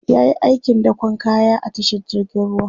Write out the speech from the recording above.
yayi aikin dakon kaya a tashar jirgin ruwa